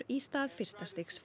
í stað fyrsta stigs